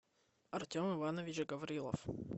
артем иванович гаврилов